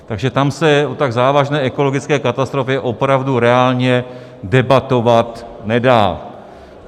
Takže tam se o tak závažné ekologické katastrofě opravdu reálně debatovat nedá.